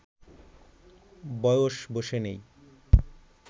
বয়স বসে নেই